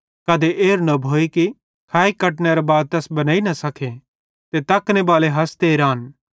कधे एरू न भोए कि खाइ कटनेरे बाद तैस बनेइ न सके ते तकने बाले हसते रान